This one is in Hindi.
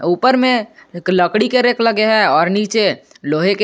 ऊपर में एक लकड़ी के रैक लगे हैं और नीचे लोहे के--